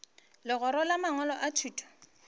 legora la mangwalo a thuto